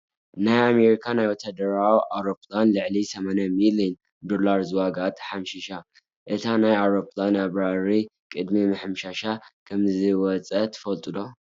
ናይ ኣሜሪካ ናይ ወታደራዊ አውሮፕላን ልዕሊ 80 ሚሊዮን ዶላር ዝዋጋኣ ተሓምሺሻ። እቲ ናይታ ኣውሮፕላን ኣብራሪ ቅድሚ ምሕምሻሻ ከምዝወፀ ትፈልጡ ዶ?